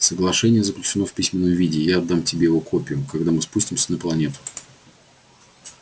соглашение заключено в письменном виде и я отдам тебе его копию когда мы спустимся на планету